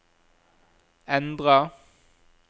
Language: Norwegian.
endra